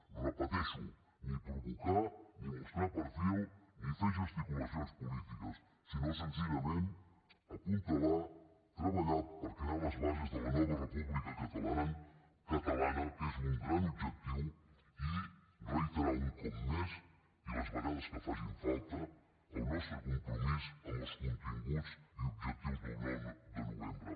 ho repeteixo ni provocar ni mostrar perfil ni fer gesticulacions polítiques sinó senzillament apuntalar treballar per crear les bases de la nova república catalana que és un gran objectiu i reiterar un cop més i les vegades que faci falta el nostre compromís amb els continguts i objectius del nou de novembre